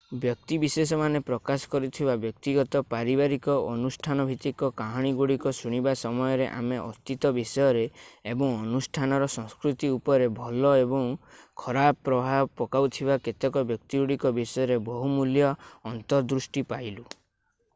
ବ୍ୟକ୍ତିବିଶେଷମାନେ ପ୍ରକାଶ କରୁଥିବା ବ୍ୟକ୍ତିଗତ ପାରିବାରିକ ଓ ଅନୁଷ୍ଠାନଭିତ୍ତିକ କାହାଣୀଗୁଡ଼ିକ ଶୁଣିବା ସମୟରେ ଆମେ ଅତୀତ ବିଷୟରେ ଏବଂ ଅନୁଷ୍ଠାନର ସଂସ୍କୃତି ଉପରେ ଭଲ ଓ ଖରାପ ପ୍ରଭାବ ପକାଉଥିବା କେତେକ ବ୍ୟକ୍ତିତ୍ୱଗୁଡ଼ିକ ବିଷୟରେ ବହୁମୂଲ୍ୟ ଅନ୍ତର୍ଦୃଷ୍ଟି ପାଇଲୁ